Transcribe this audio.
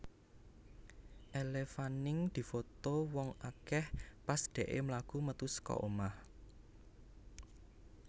Elle Fanning difoto wong akeh pas dekke mlaku metu teko omah